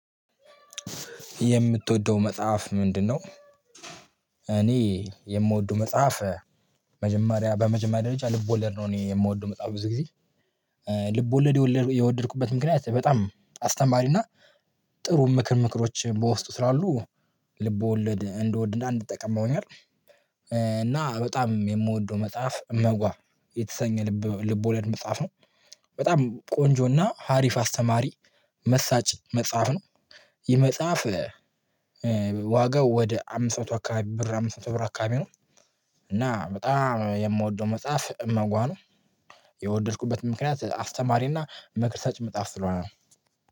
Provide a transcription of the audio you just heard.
የምትወደው መጽሐፍ ምንድነው? እኔ የምወደው መጽሐፍ መጀመሪያ በመጀመሪያ ደረጃ ልብ ወለድ ነው። እኔ የምወደው መጻፍ ብዙ ጊዜ። ልብ ወለድ የወደድኩበት ምክንያት በጣም አስተማሪና ጥሩ ምክሮች በውስጡ ስላሉ ልቦለድ እንደወድና እንድጠቀም ጠቅመውኛል። እና በጣም የምወደው መጽሐፍ እመጓ የተሰኘ ልቦለድ መጽሐፍ ነው። በጣም ቆንጆና አሪፍ አስተማሪ መሳጭ መጽሐፍ ነው። የመጽሐፍ ዋጋው ወደ አምስት መቶ አካባቢ ብር አምስት መቶ ብር አካባቢ ነው። እና በጣም የምወደው መጽሐፍ እመጓ ነው። የወደድኩበት ምክንያት አስተማሪና መክር ሰጭ መጻፍ ስለሆነ ነው